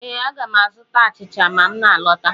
Ee, aga m azụta achịcha ma m na alọta.